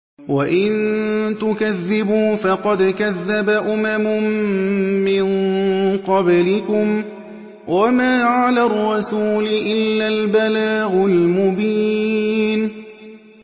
وَإِن تُكَذِّبُوا فَقَدْ كَذَّبَ أُمَمٌ مِّن قَبْلِكُمْ ۖ وَمَا عَلَى الرَّسُولِ إِلَّا الْبَلَاغُ الْمُبِينُ